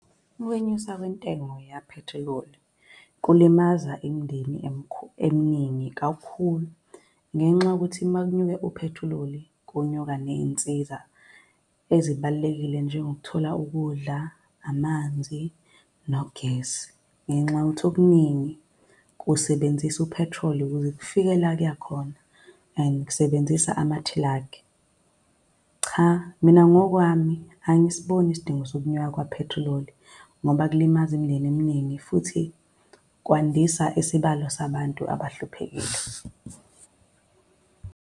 Ukwenyuswa kwentengo yaphethiloli kulimaza imindeni eminingi kakhulu, ngenxa yokuthi makunyuke uphethiloli kunyuka ney'nsiza ezibalulekile njengokuthola ukudla, amanzi, nogesi. Ngenxa yokuthi okuningi kusebenzisa uphethroli ukuze kufike la kuya khona, and kusebenzisa namathilakhi. Cha, mina ngokwami angisiboni isidingo sokunyuka kwaphethiloli ngoba kulimaza imindeni eminingi, futhi kwandisa isibalo sabantu abahluphekile.